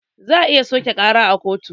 Za a iya soƙe ƙarar kotu